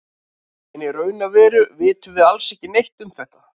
En í raun og veru vitum við alls ekki neitt um þetta.